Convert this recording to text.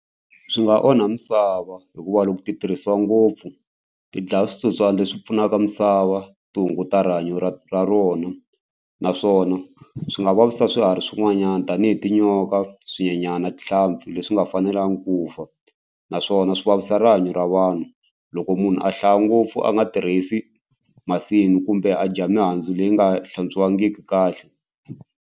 Swi nga onha misava hikuva loko ti tirhisiwa ngopfu ti dlaya switsotswana leswi pfunaka misava ti hunguta rihanyo ra ra rona naswona swi nga vavisa swiharhi swin'wanyana tanihi tinyoka, swinyenyana, na tihlampfi leswi nga fanelanga ku fa naswona swi vavisa rihanyo ra vanhu loko munhu a hlaya ngopfu a nga tirhisi masimu kumbe a dya mihandzu leyi nga hlantswiwangiki kahle.